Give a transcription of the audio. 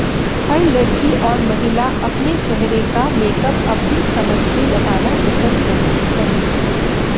हर लड़की और महिला अपने चेहरे का मेकअप अपनी समझ से लगाना पसंद करती है